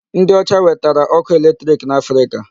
Ndị ọcha wetara ọkụ electric n'Africa.